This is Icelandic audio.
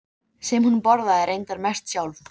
Ég hafði ekki leitt hugann að pabba í mörg ár.